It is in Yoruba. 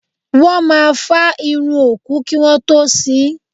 Wọ́n máa fá irun òkú kí wọ́n tó sín.